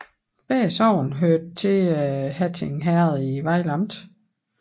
Begge sogne hørte til Hatting Herred i Vejle Amt